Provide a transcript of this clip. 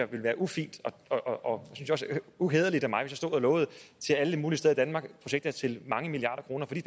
ville være ufint og uhæderligt af mig stod og lovede til alle mulige steder i danmark projekter til mange milliarder kroner for de